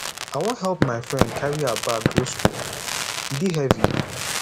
i wan help my friend carry her bag go skool e dey heavy